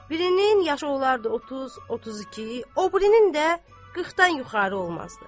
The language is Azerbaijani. Birinin yaşı olardı 30-32, o birinin də 40-dan yuxarı olmazdı.